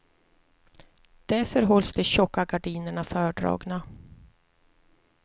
Därför hålls de tjocka gardinerna fördragna.